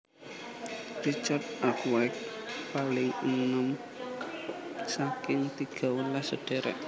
Richard Arkwright paling enèm saking tigawelas sedherek